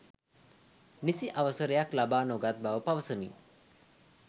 නිසි අවසරයක් ලබා නොගත් බව පවසමින්